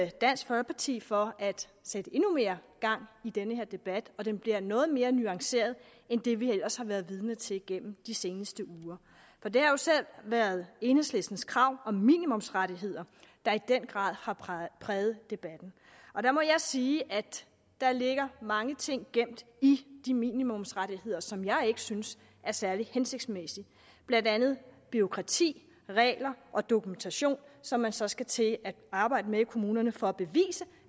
dansk folkeparti for at sætte endnu mere gang i den her debat og den bliver noget mere nuanceret end det vi ellers har været vidne til gennem de seneste uger for det er jo især været enhedslistens krav om minimumsrettigheder der i den grad har præget præget debatten og der må jeg sige at der ligger mange ting gemt i de minimumsrettigheder som jeg ikke synes er særlig hensigtsmæssige blandt andet bureaukrati regler og dokumentation som man så skal til at arbejde med i kommunerne for at bevise